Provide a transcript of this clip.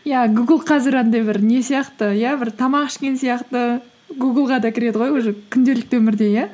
иә гугл қазір андай бір не сияқты иә бір тамақ ішкен сияқты гуглға да кіреді ғой уже күнделікті өмірде иә